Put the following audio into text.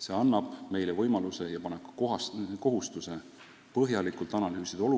See annab meile võimaluse ja paneb kohustuse olukorda põhjalikult analüüsida,